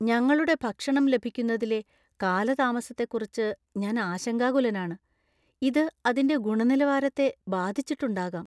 ഞങ്ങളുടെ ഭക്ഷണം ലഭിക്കുന്നതിലെ കാലതാമസത്തെക്കുറിച്ച് ഞാൻ ആശങ്കാകുലനാണ്. ഇത് അതിന്റെ ഗുണനിലവാരത്തെ ബാധിച്ചിട്ടുണ്ടാകാം.